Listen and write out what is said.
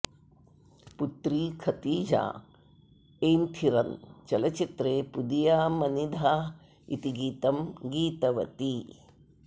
पुत्री खतीजा एन्थिरन् चलच्चित्रे पुदिया मनिधा इति गीतं गीतवती